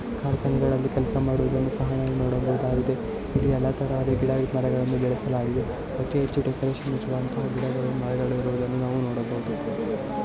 ಕೆಲಸ ಮಾಡುವುದನ್ನು ಸಹಾ ನಾವು ಇಲ್ಲಿ ನೋಡಬಹುದಾಗಿದೆ. ಇಲ್ಲಿ ಯಲ್ಲಾ ತರಹದ ಗಿದೆ ಮರಗಳನ್ನು ಬೆಳಸಲಾಗಿದೆ. ಅತಿ ಹೆಚ್ಚು ಗಿಡಾಗಳು ಮರಗಳು ನಾವು ನೋಡಬಹುದು .